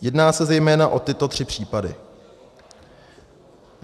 Jedná se zejména o tyto tři případy: